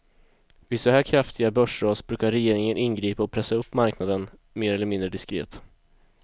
Vid så här kraftiga börsras brukar regeringen ingripa och pressa upp marknaden, mer eller mindre diskret.